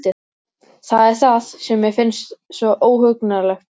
Það er það sem mér finnst svo óhugnanlegt núna.